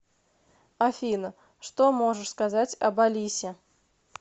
афина что можешь сказать об алисе